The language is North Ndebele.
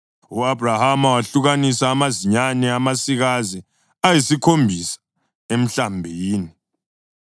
U-Abhrahama wehlukanisa amazinyane amasikazi ayisikhombisa emhlambini,